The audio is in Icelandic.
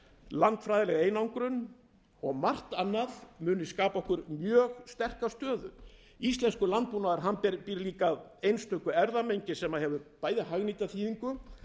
landfræðileg einangrun og margt annað muni skapa okkur mjög sterka stöðu íslenskur landbúnaður býr líka að einstöku erfðamengi sem hefur hagnýta þýðingu